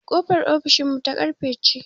Ƙofar ofishin mu ta ƙarfe ce